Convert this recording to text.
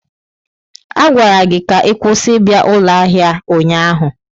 A gwara gị ka ị kwụsị ịbịa ụlọ ahịa a ụnyaahụ!